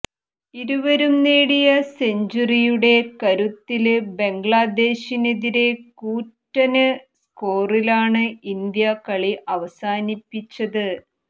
ഇരുവരും നേടിയ സെഞ്ചുറിയുടെ കരുത്തില് ബംഗ്ലാദേശിനെതിരെ കൂറ്റന് സ്കോറിലാണ് ഇന്ത്യ കളി അവസാനിപ്പിച്ചത്